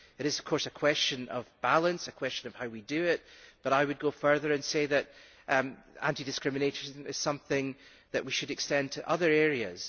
It is of course a question of balance and of how we do it, but I would go further and say that anti discrimination is something that we should extend to other areas.